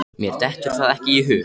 Mér dettur það ekki í hug.